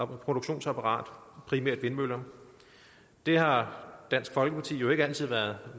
produktionsapparat primært vindmøller det har dansk folkeparti jo ikke altid været